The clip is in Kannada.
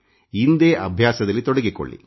ಇಂದೇ ಅಭ್ಯಾಸದಲ್ಲಿ ತೊಡಗಿಕೊಳ್ಳಿ